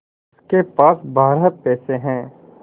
उसके पास बारह पैसे हैं